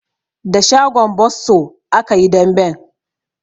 Da shagon bosso aka yi damben.